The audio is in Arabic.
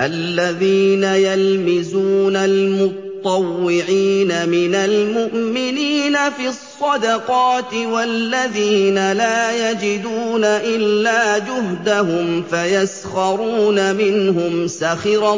الَّذِينَ يَلْمِزُونَ الْمُطَّوِّعِينَ مِنَ الْمُؤْمِنِينَ فِي الصَّدَقَاتِ وَالَّذِينَ لَا يَجِدُونَ إِلَّا جُهْدَهُمْ فَيَسْخَرُونَ مِنْهُمْ ۙ سَخِرَ